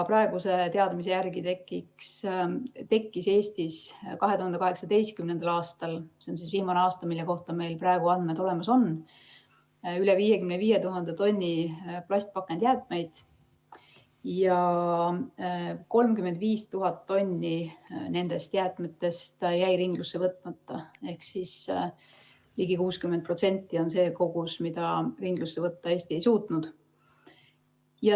Praeguse teadmise järgi tekkis Eestis 2018. aastal, s.o viimane aasta, mille kohta meil praegu andmed olemas on, üle 55 000 tonni plastpakendijäätmeid ja 35 000 tonni nendest jäätmetest jäi ringlusse võtmata ehk ligi 60% on see osa, mida Eesti ringlusse võtta ei suutnud.